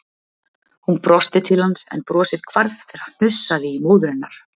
Hún brosti til hans en brosið hvarf þegar hnussaði í móður hennar.